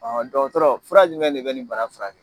Ɔhɔn dɔgɔtɔrɔ fura jumɛn de be nin bana furakɛ?